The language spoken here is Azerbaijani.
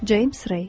Ceyms Rey.